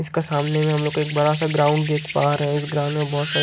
इसका सामने में हम लोग एक बरा सा ग्राउंड देख पा रहे हैं इस ग्राउंड में बहुत सारे--